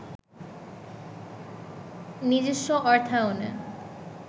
নিজস্ব অর্থায়নে